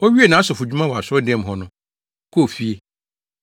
Owiee nʼasɔfodwuma wɔ asɔredan mu hɔ no, ɔkɔɔ fie.